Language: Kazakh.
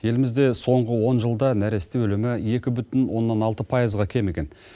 елімізде соңғы он жылда нәресте өлімі екі бүтін оннан алты пайызға кеміген